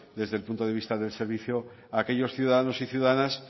desde el punto de vista del servicio a aquellos ciudadanos y ciudadanas